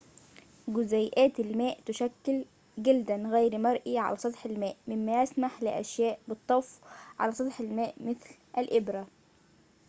جزيئات الماء تُشكل جلداً غير مرئي على سطح الماء مما يسمح لأشياء بالطفو على سطح الماء مثل الإبرة